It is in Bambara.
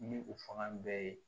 Ni u fanga bɛɛ ye